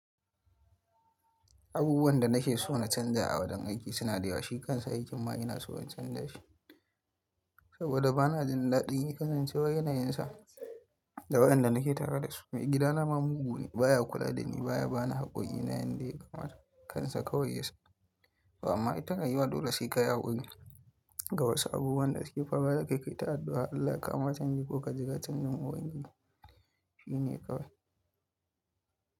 Abubuwan da nakeso na canza a wajen aiki suna da yawa. Shi kansa aikin ma inaso in canza shi saboda bana jin daɗin ya kasance wa yanayinsa da waɗanda nake tare da su. Mai gidana ma mugu ne, baya kula dani, baya bani haƙƙoƙi na yanda ya kamata kansa kawai ya sani. Amma ita rayuwa dole sai kayi hakuri. Ga wasu abubuwan da uake faruwa dakai kai ta addu'a Allah ya kawoma chanji koka jira chanjin uban giji shine kawai.